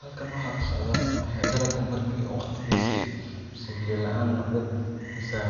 Halkana waxaa kasocdo ayaa galag marki u waqtigisi mise biya laan noqde mise